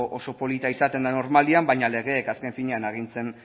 oso polita izaten da normalean baina legeek azken finean